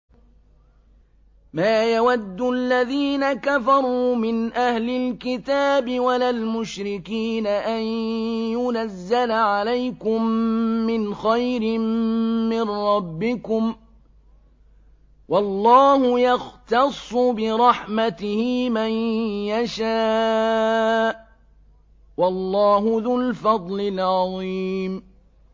مَّا يَوَدُّ الَّذِينَ كَفَرُوا مِنْ أَهْلِ الْكِتَابِ وَلَا الْمُشْرِكِينَ أَن يُنَزَّلَ عَلَيْكُم مِّنْ خَيْرٍ مِّن رَّبِّكُمْ ۗ وَاللَّهُ يَخْتَصُّ بِرَحْمَتِهِ مَن يَشَاءُ ۚ وَاللَّهُ ذُو الْفَضْلِ الْعَظِيمِ